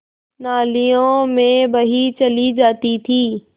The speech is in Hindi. नालियों में बही चली जाती थी